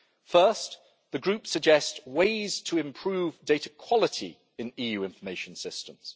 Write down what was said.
First, the Group suggests ways to improve data quality in EU Information Systems.